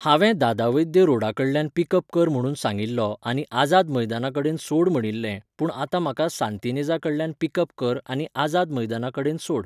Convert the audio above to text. हांवें दादा वैद्य रॉडा कडल्यान पिक अप कर म्हणून सांगिल्लो आनी आझाद मैदाना कडेन सोड म्हणिल्लें, पूण आतां म्हाका सांतिनेझा कडल्यान पिक अप कर आनी आझाद मैदाना कडेन सोड